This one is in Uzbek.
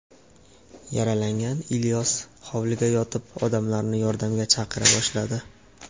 Yaralangan Ilyos hovlida yotib, odamlarni yordamga chaqira boshladi.